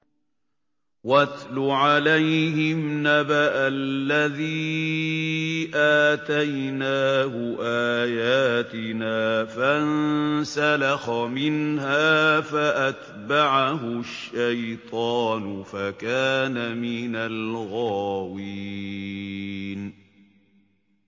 وَاتْلُ عَلَيْهِمْ نَبَأَ الَّذِي آتَيْنَاهُ آيَاتِنَا فَانسَلَخَ مِنْهَا فَأَتْبَعَهُ الشَّيْطَانُ فَكَانَ مِنَ الْغَاوِينَ